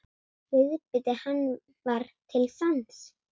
Viðbiti hann var til sanns.